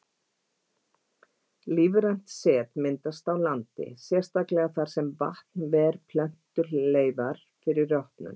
Lífrænt set myndast á landi, sérstaklega þar sem vatn ver plöntuleifar fyrir rotnun.